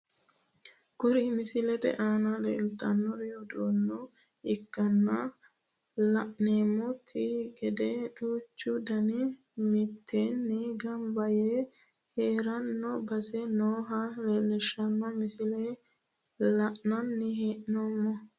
Kuri misilete aana leeltannori uduunne ikkanna la'neemmonte gede duuchu danihu mitteenni gamba yee hirranni basera nooha leellishshanno misileeti la'nanni hee'noommo